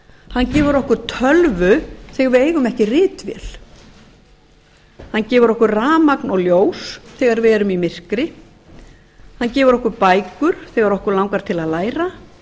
hann gefur okkur tölvu því við eigum ekki ritvél hann gefur okkur rafmagn og ljós þegar við erum í myrkri hann gefur okkur bækur þegar okkur langar til að læra